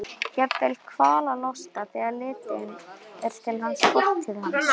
Jafnvel kvalalosta þegar litið er til fortíðar hans.